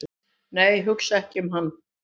"""nei, hugsa ekki um hann!"""